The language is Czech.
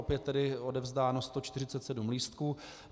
Opět tedy odevzdáno 147 lístků.